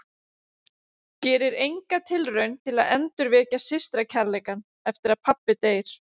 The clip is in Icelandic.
Gerir enga tilraun til að endurvekja systra- kærleikann eftir að pabbi deyr.